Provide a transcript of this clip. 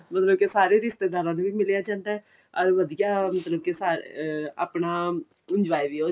ਮਤਲਬ ਕੀ ਸਾਰੇ ਰਿਸ਼ਤੇਦਾਰਾਂ ਨੂੰ ਵੀ ਮਿਲਿਆ ਜਾਂਦਾ ਅਰ ਵਧੀਆਂ ਮਤਲਬ ਕੀ ਸਾਰੇ ਅਹ ਆਪਣਾ enjoy ਵੀ